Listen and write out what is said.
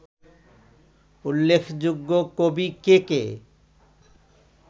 উল্লেখ্যযোগ্য কবি কে কে